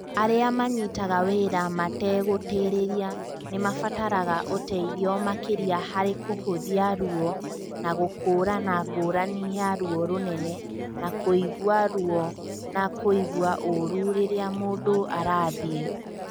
Arĩa manyitaga wĩra mategũtĩrĩria nĩ maabataraga ũteithio makĩria harĩ kũhũthia ruo na gũkũũrana ngũrani ya ruo rũnene na kũigua ruo na kũigua ũũru rĩrĩa mũndũ arathiĩ.